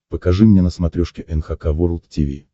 покажи мне на смотрешке эн эйч кей волд ти ви